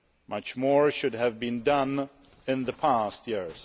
Much more should have been done in the past years.